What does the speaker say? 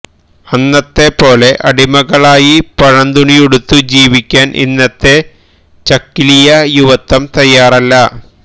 അന്നത്തെപ്പോലെ അടിമകളായി പഴന്തുണിയുടുത്തു ജീവിക്കാന് ഇന്നത്തെ ചക്കിലിയ യുവത്വം തയാറല്ല